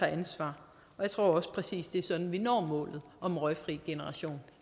ansvar jeg tror også præcis er sådan vi når målet om en røgfri generation